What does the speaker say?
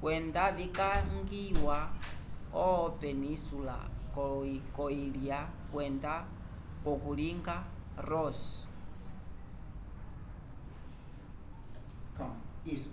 kwenda visangiya vo-península kolo-ilya kwenda k'okalunga ross